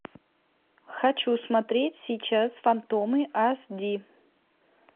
хочу смотреть сейчас фантомы ас ди